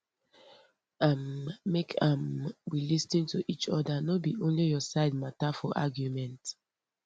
um make um we lis ten to each other no be only your side matter for argument